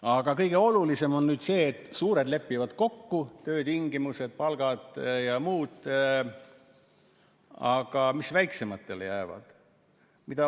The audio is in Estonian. Aga kõige olulisem on see, et suured lepivad kokku töötingimused, palgad ja muud, aga mis väiksematele jääb?